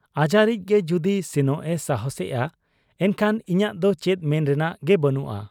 ᱟᱡᱟᱨᱤᱡ ᱜᱮ ᱡᱩᱫᱤ ᱥᱮᱱᱚᱜ ᱮ ᱥᱟᱦᱟᱸᱥᱮᱜ ᱟ, ᱮᱱᱠᱷᱟᱱ ᱤᱧᱟᱹᱜ ᱫᱚ ᱪᱮᱫ ᱢᱮᱱ ᱨᱮᱱᱟᱜ ᱜᱮ ᱵᱟᱹᱱᱩᱜ ᱟ ᱾